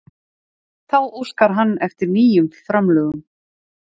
Þá óskar hann eftir nýjum framlögum